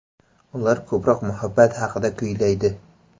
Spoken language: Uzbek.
Ular ko‘proq muhabbat haqida kuylaydi.